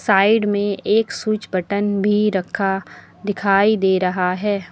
Side में एक switch button भी रखा दिखाई दे रहा है।